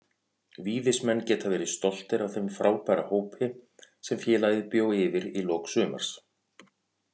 Víðismenn geta verið stoltir af þeim frábæra hópi sem félagið bjó yfir í lok sumars.